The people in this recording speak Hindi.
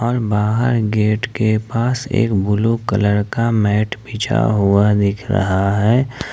बाहर गेट के पास एक ब्ल्यू कलर का मैट बिछा हुआ दिख रहा है।